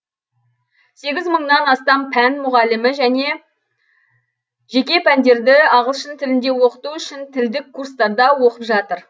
сегіз мыңнан астам пән мұғалімі жеке пәндерді ағылшын тілінде оқыту үшін тілдік курстарда оқып жатыр